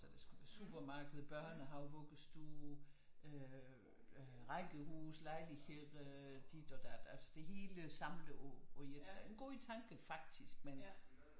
Altså der skulle være supermarked børnehave vuggestue øh rækkehuse lejlighed dit og dat altså det hele samlet i et en god tanke faktisk men